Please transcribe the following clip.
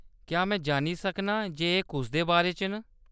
क्या में जानी सकनी आं जे एह्‌‌ कुसदे बारे च न ?